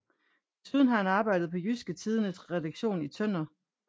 Desuden har han arbejdet på Jydske Tidendes redaktion i Tønder